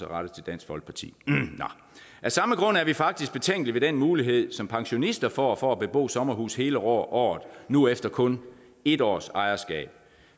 rettet til dansk folkeparti af samme grund er vi faktisk betænkelige ved den mulighed som pensionister får for at bebo sommerhus hele året nu efter kun en års ejerskab